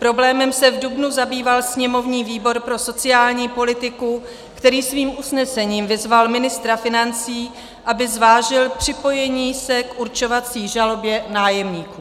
Problémem se v dubnu zabýval sněmovní výbor pro sociální politiku, který svým usnesením vyzval ministra financí, aby zvážil připojení se k určovací žalobě nájemníků.